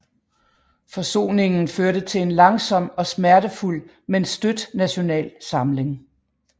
Forsoningen førte til en langsom og smertefuld men støt national samling